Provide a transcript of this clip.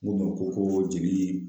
N kun be jeni